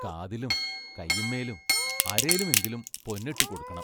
കാതിലും കയിന്മേലും അരേലുമെങ്കിലും പൊന്നിട്ടു കൊടുക്കണം.